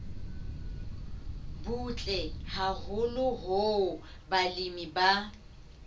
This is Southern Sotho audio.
butle haholo hoo balemi ba